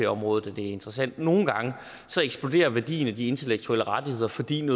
området at det er interessant for nogle gange eksploderer værdien af de intellektuelle rettigheder fordi en